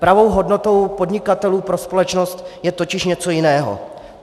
Pravou hodnotou podnikatelů pro společnost je totiž něco jiného.